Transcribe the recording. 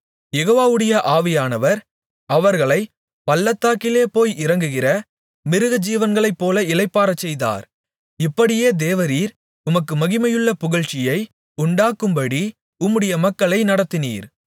யெகோவாவுடைய ஆவியானவர் அவர்களைப் பள்ளத்தாக்கிலே போய் இறங்குகிற மிருகஜீவன்களைப்போல இளைப்பாறச்செய்தார் இப்படியே தேவரீர் உமக்கு மகிமையுள்ள புகழ்ச்சியை உண்டாக்கும்படி உம்முடைய மக்களை நடத்தினீர்